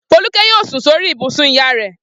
Folúkẹ́ yóò sùn sórí ibùsùn ìyá rẹ̀.